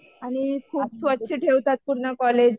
आणि खूप स्वच्छ ठेवतात पूर्ण कॉलेज.